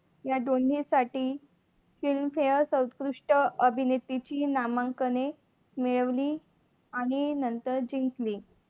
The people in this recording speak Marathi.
या दोन्हीसाठी film Fair सर्वोत्कृष्ट अभिनेते ची नामांकने मिळवली जिंकली.